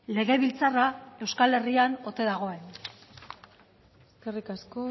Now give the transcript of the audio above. legebiltzarra euskal herrian ote dagoen eskerrik asko